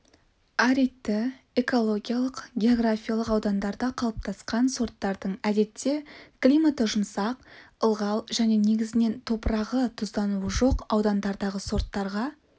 аридті экологиялық географиялық аудандарда қалыптасқан сорттардың әдетте климаты жұмсақ ылғал және негізінен топырағы тұздануы жоқ аудандардағы сорттарға